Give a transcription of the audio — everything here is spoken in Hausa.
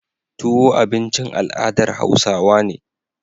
Tuwo abincin al adar hausawa ne